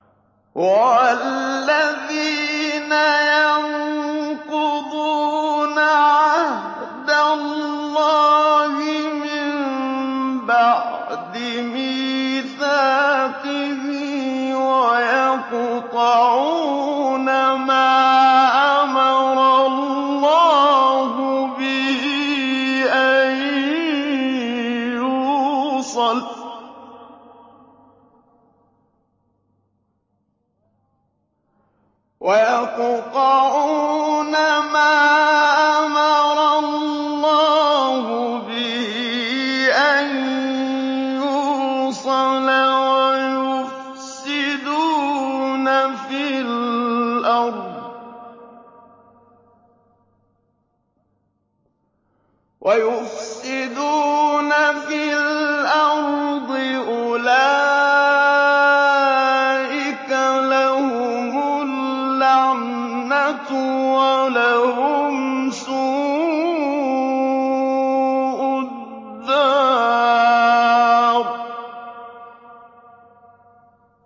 وَالَّذِينَ يَنقُضُونَ عَهْدَ اللَّهِ مِن بَعْدِ مِيثَاقِهِ وَيَقْطَعُونَ مَا أَمَرَ اللَّهُ بِهِ أَن يُوصَلَ وَيُفْسِدُونَ فِي الْأَرْضِ ۙ أُولَٰئِكَ لَهُمُ اللَّعْنَةُ وَلَهُمْ سُوءُ الدَّارِ